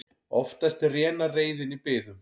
Oftast rénar reiðin í biðum.